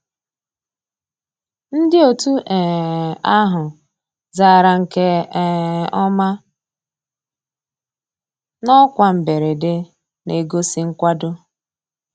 Ndị́ ótú um àhụ́ zàrà nkè um ọ́má ná ọ́kwá mbérèdé, ná-ègósì nkwàdó.